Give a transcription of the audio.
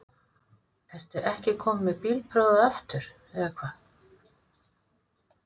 Ertu ekki kominn með bílprófið aftur eða hvað?